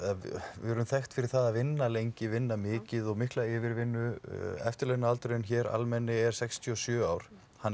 við erum þekkt fyrir það að vinna lengi að vinna mikið og mikla yfirvinnu eftirlaunaaldurinn hér almenni er sextíu og sjö ár hann er